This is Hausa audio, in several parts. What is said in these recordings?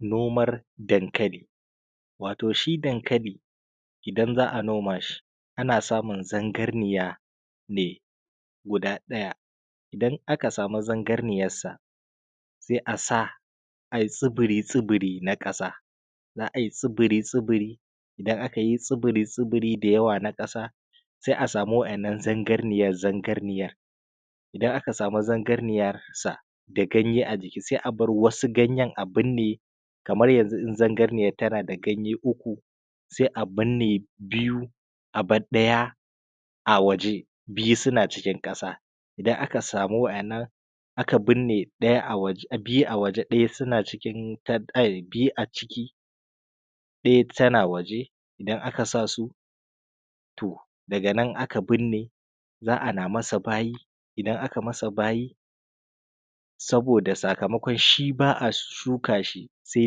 Noman dankali. Wato shi dankali idan za a noma shi a na samun zangarniya ne guda ɗaya, Idan aka sami zangarniyarsa sai a sa a yi tsuburi tsuburi na ƙasa. Za a yi tsuburi tsuburi, Idan aka yi tsuburi tsuburi da yawa na ƙasa, sai a sami wa’yanan zangarniyar zangarniyar, idan aka samu zangarniyar sa da ganye a jiki sai a bar wasu ganye a birne. Kamar yanzu, in zangarniyar tana da ganye uku sai dai a birne biyu a bar ɗaya a waje biyu suna cikin ƙasa. Idan aka samu wannan aka birne biyu a waje ɗaya tana waje, idan aka sa su to daga nan aka binne za a na masa bayi, idan aka masa bayi, saboda sakamakon shi ba a shuka shi sai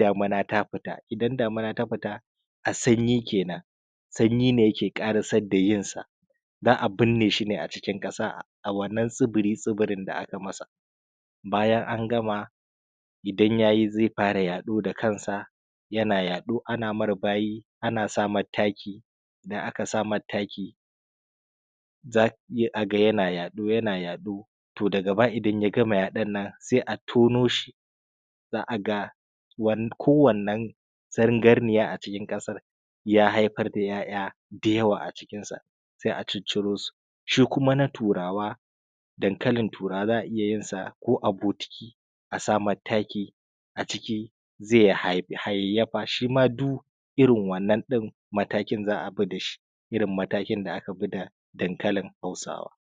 damina ta fita, idan damina ta fita, a sanyi kenan, sanyi ne yake ƙarasar da yinsa za a binne shi ne a cikin ƙasa a wannan tsibiri tsibiri ɗin da aka masa. Baya an gama idan ya yi zai fara yaɗo da kansa yana yaɗo ana mar bayi ana sa mai taki idan aka sa mar taki za a ga yana yaɗo, yana yaɗo, to daga baya idan ya gama yaɗon nan sai a tonoshi za a ga ko wanne zangarniya a cikin ƙasar ya haifar da 'ya'ya mai yawa a cikinsu sai a cicciro su shi kuma dankali turawa za a iya yin sa ko a bokiti, a sa mai taki a ciki zai hayayyafa shima du irin wannan matakin za a bi da shi kalar matakin da aka bi da dankalin hausawa.